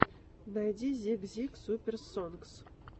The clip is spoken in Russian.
найди зик зик суперс сонгс